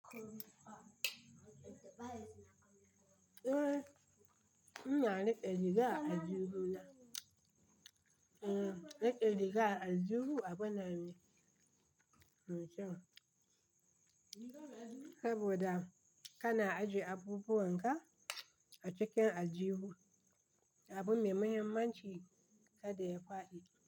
Eh, ina riƙe riga a aljihu na. Riƙe riga a aljihu abu ne mai kyau, saboda kana ajiye abubuwan ka a cikin aljihu, abu mai mahimmanci ka da ya faɗi.